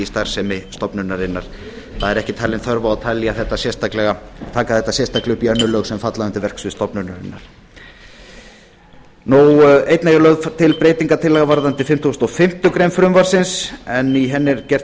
starfsemi stofnunarinnar ekki er talin þörf á að taka það sérstaklega upp í önnur lög sem falla undir verksvið stofnunarinnar einnig er lögð til breyting varðandi fimmtugasta og fimmtu grein frumvarpsins en í henni er gert ráð